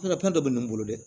dɔ bɛ ne bolo dɛ